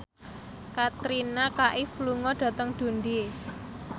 Katrina Kaif lunga dhateng Dundee